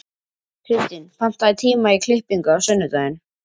Kirstín, pantaðu tíma í klippingu á sunnudaginn.